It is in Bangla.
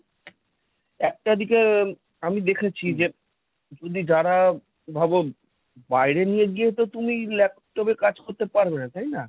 একটা দিকে আমি দেখেছি যে যদি যারা ভাবো, বাইরে নিয়ে গিয়ে তো তুমি laptop এ কাজ করতে পারবেনা। তাই না?